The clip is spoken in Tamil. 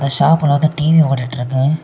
இந்த ஷாப்ல வந்து டி_வி ஓடிட்டு இருக்கு.